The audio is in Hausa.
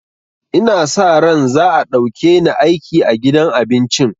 Ina sa ran za a ɗauke ni aiki a gidan abincin